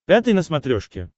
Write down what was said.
пятый на смотрешке